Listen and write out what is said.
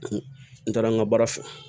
N taara n ka baara fɛ